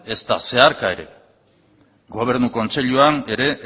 ezta zeharka ere gobernu kontseiluan ere